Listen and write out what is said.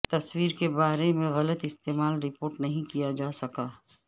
تصویر کے بارے میں غلط استعمال رپورٹ نہیں کیا جا سکا